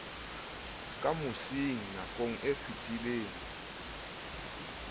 ka mosing nakong e fetileng